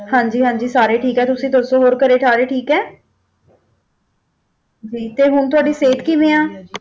ਹਾਂਜੀ ਹਾਂਜੀ ਸਾਰੇ ਠੀਕ ਆ ਹੋਰ ਤੁਸੀਂ ਦੱਸੋ ਹੋਰ ਘਰੇ ਸਾਰੇ ਠੀਕ ਆ ਜੀ ਤੇ ਹੁਣ ਤੁਹਾਡੀ ਸਿਹਤ ਕਿਵੇਂ ਆ?